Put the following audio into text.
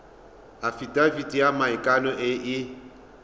afitafiti ya maikano e e